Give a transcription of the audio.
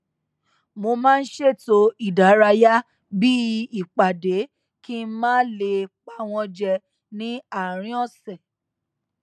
mo maá n ṣètò ìdárayá bí i ìpàdé kí n má lè pa wọn jẹ ní àárín ọsẹ